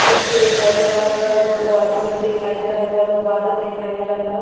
मिटटी दिखाई दे रहल बा दुगो आदमी दिखाई दे रहल बा लोग बादल दिखाई दे रहल बा।